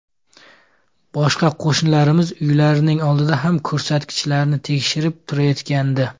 Boshqa qo‘shnilarimiz uylarining oldida ham ko‘rsatkichlarni tekshirib turishayotgandi.